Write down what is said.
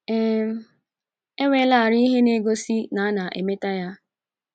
um Enwelarị ihe na-egosi na ana-emeta ihe